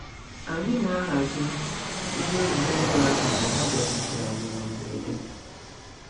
Anyị na-ahazi ngwa egwuregwu ahụ mgbe ha bịakwutere anyị na mberede.